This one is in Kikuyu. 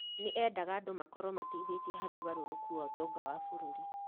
nĩ eendaga andũ makorwo mateithĩtie harĩ ũgarũrũku wa ũtonga wa bũrũri